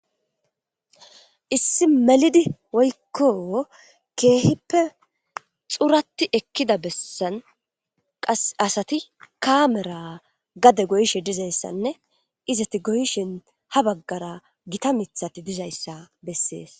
Issi melidi woykon kehippe xurati ekida besan qasi asati kamera gade goyishe dizaysa nne izzeti goyishin habagara gitta mithati dizaysa beses